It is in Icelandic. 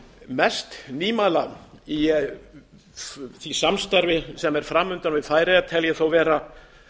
mest nýmæli í því samstarfi sem er fram undan við færeyjar tel ég þó vera